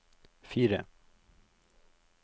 fire